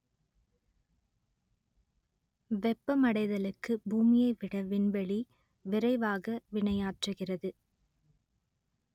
வெப்பமடைதலுக்கு பூமியை விட விண்வெளி விரைவாக வினையாற்றுகிறது